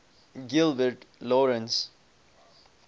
gilbert lawrence